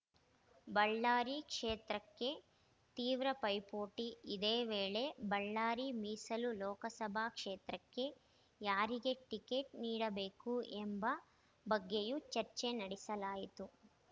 ಬಳ್ಳಾರಿ ಕ್ಷೇತ್ರಕ್ಕೆ ತೀವ್ರ ಪೈಪೋಟಿ ಇದೇ ವೇಳೆ ಬಳ್ಳಾರಿ ಮೀಸಲು ಲೋಕಸಭಾ ಕ್ಷೇತ್ರಕ್ಕೆ ಯಾರಿಗೆ ಟಿಕೆಟ್‌ ನೀಡಬೇಕು ಎಂಬ ಬಗ್ಗೆಯೂ ಚರ್ಚೆ ನಡೆಸಲಾಯಿತು